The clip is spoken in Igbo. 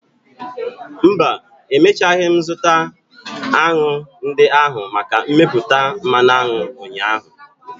Mba, emechaghị m zụta aṅụ ndị ahụ maka mmepụta mmanụ aṅụ ụnyaahụ.